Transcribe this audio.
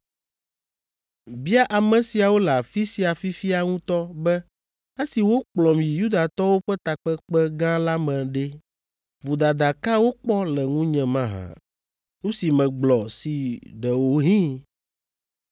Bia ame siawo le afi sia fifia ŋutɔ be esi wokplɔm yi Yudatɔwo ƒe takpekpe gã la me ɖe, vodada ka wokpɔ le ŋunye mahã. Nu si megblɔ si ɖewohĩ